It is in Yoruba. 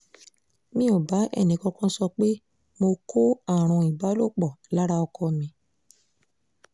mi ò bá ẹnìkankan sọ pé mo kó àrùn ìbálòpọ̀ lára ọkọ mi